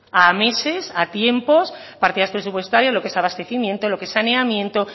a meses a tiempos partidas presupuestarias lo que es abastecimiento lo que es saneamiento